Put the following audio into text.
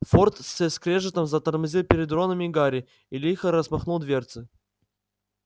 форд со скрежетом затормозил перед роном и гарри и лихо распахнул дверцы